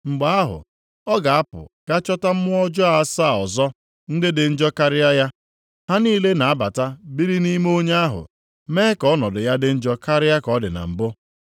Mgbe ahụ, ọ ga-apụ ga chọta mmụọ ọjọọ asaa ọzọ ndị dị njọ karịa ya. Ha niile na-abata biri nʼime onye ahụ, mee ka ọnọdụ ya dị njọ karịa ka ọ dị na mbụ.”